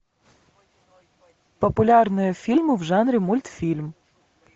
популярные фильмы в жанре мультфильм